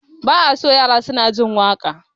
Ba a so yara suna jin waƙa